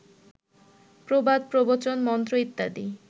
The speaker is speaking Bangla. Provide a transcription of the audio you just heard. প্রবাদ, প্রবচন, মন্ত্র ইত্যাদি